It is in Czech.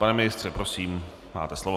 Pane ministře, prosím, máte slovo.